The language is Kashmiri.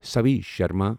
ساوی شرما